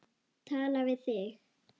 Tala við þig.